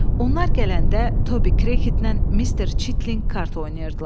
Onlar gələndə Tobi Krekittlə Mister Çitlinq kart oynayırdılar.